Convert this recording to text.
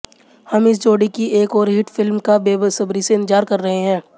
हम इस जोड़ी की एक ओर हिट फिल्म का बेसब्री से इंतेजार कर रहे है